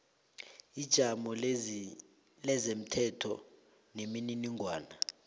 ijamo lezomthetho nemininingwana